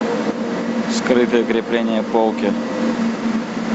скрытое крепление полки